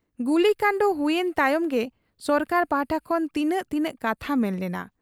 ᱜᱩᱞᱤᱠᱟᱸᱰ ᱦᱩᱭᱮᱱ ᱛᱟᱭᱚᱢ ᱜᱮ ᱥᱚᱨᱠᱟᱨ ᱯᱟᱦᱴᱟ ᱠᱷᱚᱱ ᱛᱤᱱᱟᱹᱜ ᱛᱤᱱᱟᱹᱜ ᱠᱟᱛᱷᱟ ᱢᱮᱱ ᱞᱮᱱᱟ ᱾